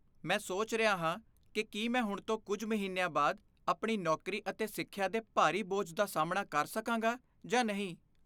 ਮੈਂ ਸੋਚ ਰਿਹਾ ਹਾਂ ਕਿ ਕੀ ਮੈਂ ਹੁਣ ਤੋਂ ਕੁਝ ਮਹੀਨਿਆਂ ਬਾਅਦ, ਆਪਣੀ ਨੌਕਰੀ ਅਤੇ ਸਿੱਖਿਆ ਦੇ ਭਾਰੀ ਬੋਝ ਦਾ ਸਾਮ੍ਹਣਾ ਕਰ ਸਕਾਂਗਾ ਜਾਂ ਨਹੀਂ।